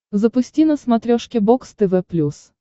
запусти на смотрешке бокс тв плюс